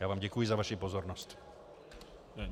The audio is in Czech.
Já vám děkuji za vaši pozornost.